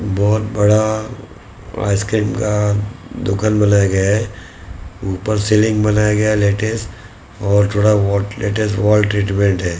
बहुत बड़ा आइसक्रीम का दुकान बनाया गया है ऊपर सेलिंग बनाया गया है लेटेस्ट और थोड़ा व लेटेस्ट वॉल ट्रीटमेंट है।